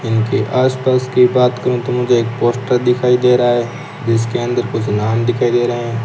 यहां की आसपास की बात करूं तो मुझे एक पोस्टर दिखाई दे रहा है जिसके अंदर कुछ नाम दिखाई दे रहे हैं।